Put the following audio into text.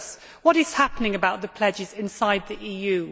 What is happening about the pledges inside the EU?